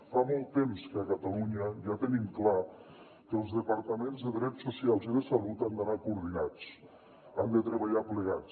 fa molt temps que a catalunya ja tenim clar que els departaments de drets socials i de salut han d’anar coordinats han de treballar plegats